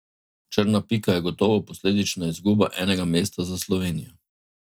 Črna pika je gotovo posledična izguba enega mesta za Slovenijo.